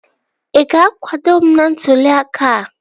Ị ga-akwado m n'ntụli aka a?